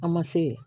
An ma se yen